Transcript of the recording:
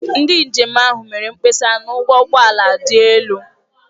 Ndị njem ahụ mere mkpesa na ụgwọ ụgbọ ala dị elu.